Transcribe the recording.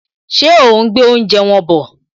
Ṣé òún gbé oúnjẹ wọn bọ̀?